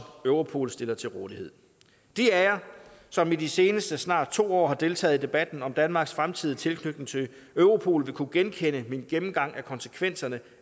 europol stiller til rådighed de af jer som i de seneste snart to år har deltaget i debatten om danmarks fremtidige tilknytning til europol vil kunne genkende min gennemgang af konsekvenserne